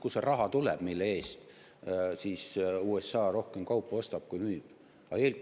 Kust see raha tuleb, mille eest USA rohkem kaupu ostab, kui müüb?